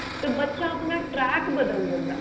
ਤਾਂ ਬੱਚਾ ਆਪਣਾ track ਬਦਲ ਦਿੰਦਾ